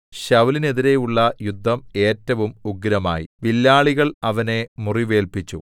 ശൌലിനെതിരെയുള്ള യുദ്ധം ഏറ്റവും ഉഗ്രമായി വില്ലാളികൾ അവനെ മുറിവേല്പിച്ചു